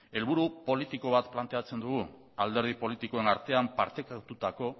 helburu politiko bat planteatzen dugu alderdi politikoen artean partekatutako